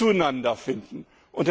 zueinander finden können.